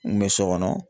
N kun bɛ so kɔnɔ